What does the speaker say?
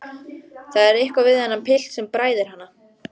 Það er eitthvað við þennan pilt sem bræðir hana.